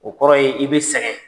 O kɔrɔ ye i bɛ sɛgɛn.